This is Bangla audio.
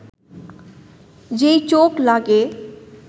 যেই চোখ লাগে